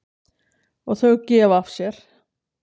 Og þau gefa af sér.